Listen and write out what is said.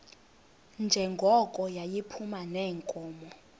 njengoko yayiphuma neenkomo